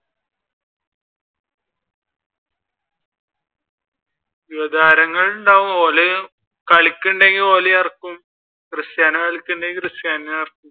യുവതാരങ്ങൾ ഉണ്ടാകും ഓര് കളിക്കുന്നെണ്ടെങ്കിൽ ഓരേ ഇറക്കും ക്രിസ്റ്റ്യാനോ കളിക്കുന്നുണ്ടെങ്കിൽ Cristiano യെ ഇറക്കും.